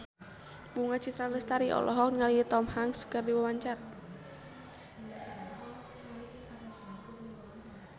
Bunga Citra Lestari olohok ningali Tom Hanks keur diwawancara